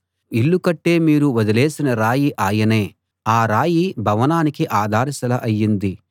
ఇల్లు కట్టే మీరు వదిలేసిన రాయి ఆయనే ఆ రాయి భవనానికి ఆధారశిల అయ్యింది